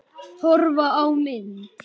Horfa á mynd